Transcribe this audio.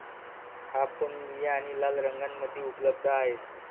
हा फोन निळा आणि लाल रंगामध्ये उपलब्ध आहे.